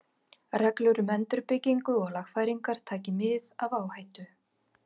Reglur um endurbyggingu og lagfæringar, taki mið af áhættu.